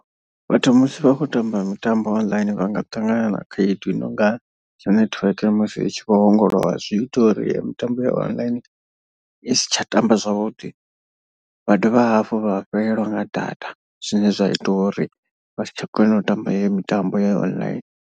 Vhathu musi vha khou tamba mitambo online vhanga ṱangana na khaedu i nonga network musi i tshi vho ongolowa zwi ita uri yeyo mitambo ya online i si tsha tamba zwavhuḓi. Vha dovha hafhu vha fhelelwa nga data zwine zwa ita uri vha si tsha kona u tamba iyo mitambo ya online.